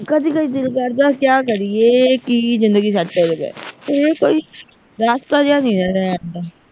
ਕਦੀ ਕਦੀ ਦਿਲ ਕਰਦਾ ਕਿਆ ਕਰੀਏ ਕੀ ਜਿੰਦਗੀ ਤੋਂ ਬਗੈਰ ਐਵੇਂ ਕੋਈ ਰਾਸਤਾ ਜਿਹਾ ਨਹੀਂ ਰਹਿੰਦਾ